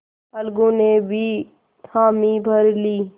अलगू ने भी हामी भर ली